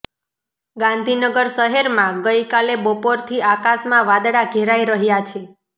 ગાંધીનગર શહેરમાં ગઇ કાલે બપોરથી આકાશમાં વાદળા ઘેરાઇ રહ્યાં છે